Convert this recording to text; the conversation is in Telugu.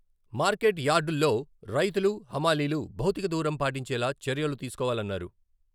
మార్కెట్ యార్డుల్లో రైతులు, హమాలీలు భౌతిక దూరం పాటించేలా చర్యలు తీసుకోవాలన్నారు.